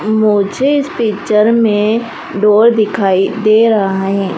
मुझे इस पिक्चर में डोर दिखाई दे रहा है।